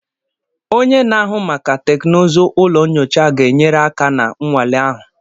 Onye na-ahụ maka teknụzụ ụlọ nyocha ga-enyere aka na nnwale ahụ.